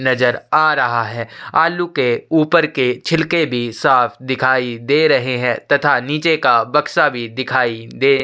नज़र आ रहा है आलू के ऊपर के छिलके भी साफ़ दिखाई दे रहे है तथा निचे का बक्सा भी दिखाई दे --